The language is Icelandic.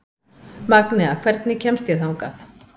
Magnea, hvernig kemst ég þangað?